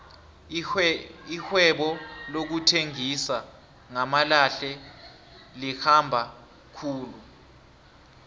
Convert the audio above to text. irhwebo lokuthengisa ngamalahle likhamba khulu